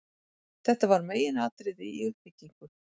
Þetta var meginatriði í uppbyggingu